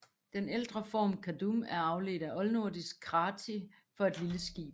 Den ældre form Kadum er afledt af oldnordisk kati for et lille skib